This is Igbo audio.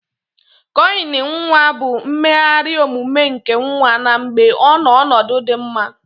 Cọọyin nwa bu mmeghari omume nke nwa na mgbe ọnọ ọnọdu di mma.